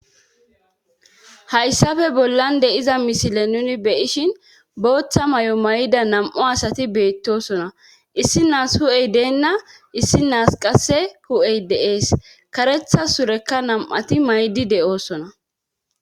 hayssafe bollan de'iza mishile nuni be7ishin booththa mayo mayida nam'u asati beettosona issi naas hu7ey deenna issi naas qasse hu'ey dee'es karetha surekka nam'ati maydi de'osona